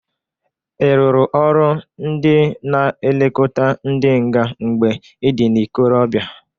Ị rụrụ ọrụ ndị na-elokota ndị nga mgbe ị dị n'ikorobịa?